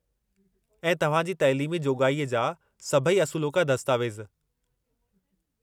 ऐं तव्हां जी तइलीमी जोॻाई जा सभई असुलोका दस्तावेज़।